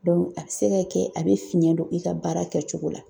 a bɛ se ka kɛ a bɛ fiɲɛ don i ka baara kɛcogo la